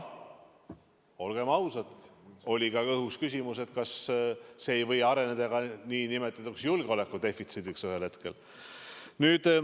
Olgem ausad, oli õhus ka küsimus, kas see ei või ühel hetkel areneda nn julgeolekudefitsiidiks.